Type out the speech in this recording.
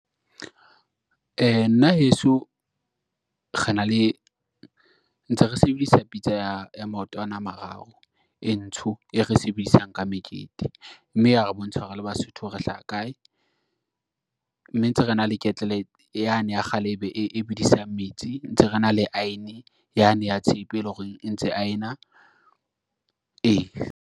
Nna heso, ntse re sebedisa pitsa ya maotwana a mararo e ntsho, e re sebedisang ka mekete mme ya re bontsha hore re le Basotho re hlaha kae, mme ntse re na le ketlele yane ya kgale e bedisang metsi, ntse re na le aene yane ya tshepe, e leng hore e ntse aena, ee.